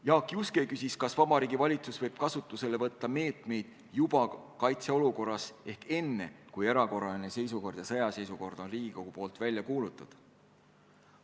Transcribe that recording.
Jaak Juske küsis, kas Vabariigi Valitsus võib kasutusele võtta meetmeid juba kaitseolukorras ehk siis enne, kui erakorraline seisukord ja sõjaseisukord on Riigikogus välja kuulutatud.